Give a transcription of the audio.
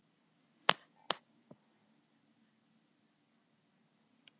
Bréfunum var aldrei svarað.